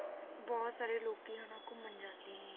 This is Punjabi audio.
ਬਹੁਤ ਸਾਰੇ ਲੋਕੀ ਹਨਾ ਘੁੰਮਣ ਜਾਂਦੇ ਨੇ,